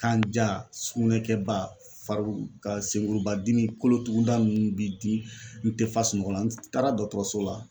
Kanja sugunɛkɛba faru ka senkuruba dimi kolotuguda ninnu b'i di n tɛ fa sunɔgɔ n taara dɔtɔrɔso la.